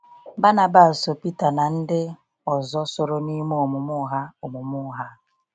Bànàbàs ‘so Peter na ndị ọzọ soro n’ime omume ụgha omume ụgha a.’